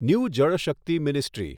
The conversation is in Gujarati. new Jal Shakti ministry